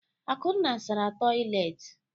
Akunna sara toịletị.